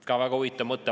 " Ka väga huvitav mõte.